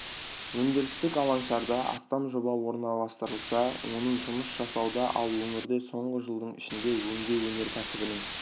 өндірістік алаңшаларда астам жоба орналастырылса оның жұмыс жасауда ал өңірде соңғы жылдың ішінде өңдеу өнеркәсібінің